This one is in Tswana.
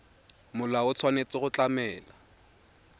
molao o tshwanetse go tlamela